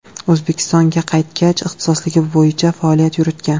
O‘zbekistonga qaytgach, ixtisosligi bo‘yicha faoliyat yuritgan.